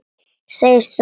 Segist ekki trúa honum.